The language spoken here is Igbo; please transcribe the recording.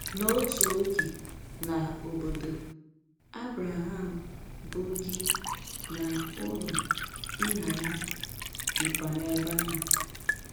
N'otu oge na "obodo" Abraham, bụ gị, na“ụlọ” nna ya dịkwa n’ebe ahụ.